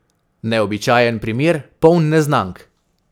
Neobičajen primer, poln neznank.